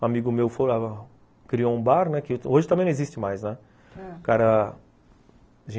Um amigo meu criou um bar, né, que hoje também não existe mais, né, ãh, o cara